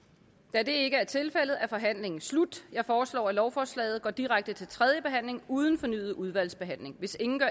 da det ikke er tilfældet er forhandlingen sluttet jeg foreslår at lovforslaget går direkte til tredje behandling uden fornyet udvalgsbehandling hvis ingen gør